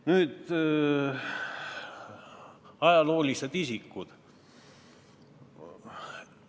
Nüüd ajaloolised isikud.